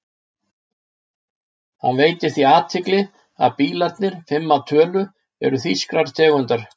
Hann veitir því athygli að allir bílarnir, fimm að tölu, eru þýskrar tegundar.